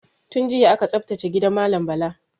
Tun jiya aka tsaftace gidan malam Bala.